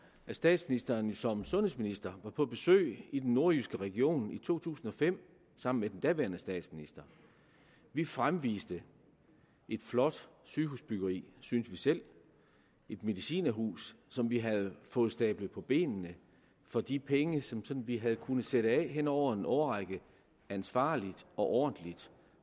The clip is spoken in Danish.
at statsministeren jo som sundhedsminister var på besøg i den nordjyske region i to tusind og fem sammen med den daværende statsminister vi fremviste et flot sygehusbyggeri synes vi selv et medicinerhus som vi havde fået stablet på benene for de penge som som vi havde kunnet sætte af hen over en årrække ansvarligt og ordentligt